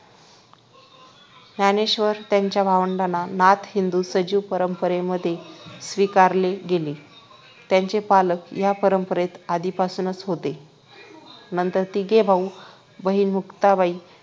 ज्ञानेश्वर त्यांच्या भावंडांना नाथ हिंदू सजीव परंपरेमध्ये स्वीकारले गेले. त्यांचे पालक या परंपरेत आधीपासूनच होते. नंतर तिघे भाऊ, बहीण मुक्ताबाई